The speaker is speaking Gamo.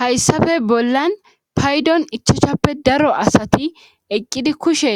hayssafe bollan paydon ichochappe daro asati eqqidi kushe